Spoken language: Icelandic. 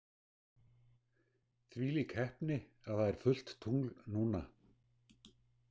Þvílík heppni að það er fullt tungl núna.